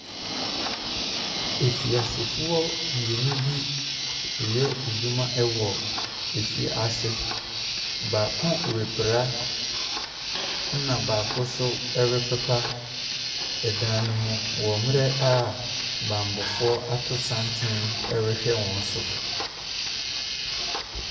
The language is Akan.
Afiasefoɔ mmienu ɛreyɛ wɔn adwuma wɔ efiase. Baako repra, ɛna baako nso repepa dan no mu wɔ mmerɛ a bammɔfoɔ ato santene ɛrehwɛ wɔn so.